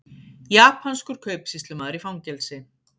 Japanskur kaupsýslumaður í fangelsi